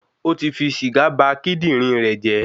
O ti fi sìgá ba kíndìnrín rẹ̀ jẹ́